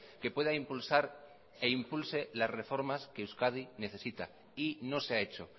que pueda impulsar e impulse las reformas que euskadi necesita y no se ha hecho